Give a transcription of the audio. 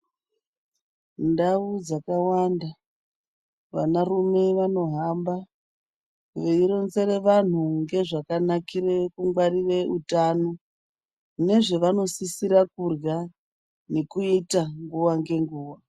Ndau dzakawanda, vanarume vanohamba veironzera vantu ngezvakanakira kuchengeta utano nezvavanosisira kudyra nekuita nguwa ngenguwa